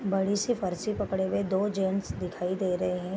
बड़ी सी पर्ची पकड़े हुए दो जेन्ट्स दिखाई दे रहे है।